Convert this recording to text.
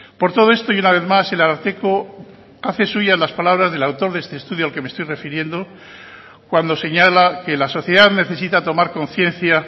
por todo esto y una vez más el ararteko hace suyas las palabras del autor de este estudio al que me estoy refiriendo cuando señala que la sociedad necesita tomar conciencia